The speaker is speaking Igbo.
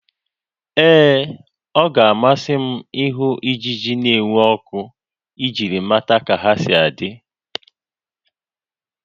Ee, ọ ga-amasị m ịhụ ijiji n'enwu ọkụ iji mata ka ha na adị